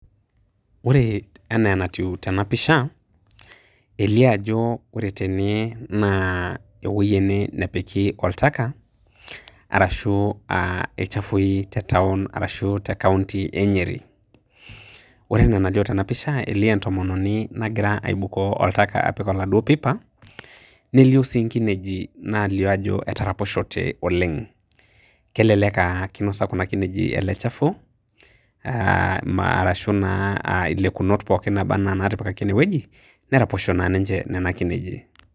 Ore enaa enatiu tenapisha, elio ajo ore tene naa ewoi ene nepiki oltaka, arashu ilchafui te taon arashu te kaunti e Nyeri. Ore enaa enalio tenapisha elio entomononi nagira aibukoo oltaka apik oladuo pipa, nelio si nkineji nalio ajo etaraposhote oleng. Kelelek ah kinosa kuna kinejik ele chafu, arashu naa ilekunot pookin naba enaa natipikaki enewueji, neraposho naa ninche nena kineji.